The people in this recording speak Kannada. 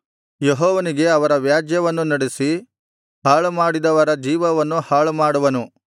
ಯೆಹೋವನೇ ಅವರ ವ್ಯಾಜ್ಯವನ್ನು ನಡೆಸಿ ಹಾಳುಮಾಡಿದವರ ಜೀವವನ್ನು ಹಾಳುಮಾಡುವನು